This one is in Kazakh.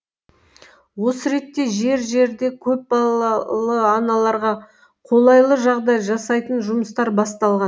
осы ретте жер жерде көпбалалы аналарға қолайлы жағдай жасайтын жұмыстар басталған